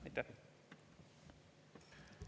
Aitäh!